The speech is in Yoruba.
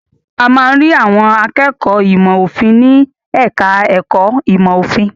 A máa ń rí àwọn akẹ́kọ̀ọ́ ìmọ̀-òfin ní ẹ̀ka-ẹ̀kọ́ ìmọ̀-òfin.